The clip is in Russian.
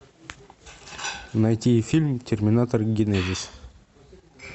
найти фильм терминатор генезис